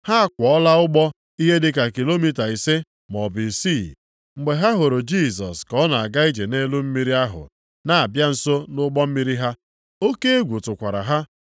Ha akwọọla ụgbọ ihe dịka kilomita ise maọbụ isii, mgbe ha hụrụ Jisọs ka ọ na-aga ije nʼelu mmiri ahụ na-abịa nso nʼụgbọ mmiri ha. Oke egwu tụkwara ha.